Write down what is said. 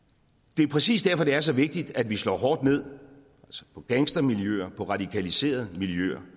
det er præcis derfor det er så vigtigt at vi slår hårdt ned på gangstermiljøer på radikaliserede miljøer